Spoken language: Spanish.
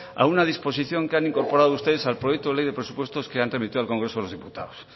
a una disposición que han incorporado ustedes al proyecto de ley de presupuestos que han remitido al congreso de los diputados